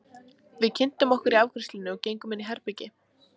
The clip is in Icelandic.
Við kynntum okkur í afgreiðslunni og gengum inn í herbergið.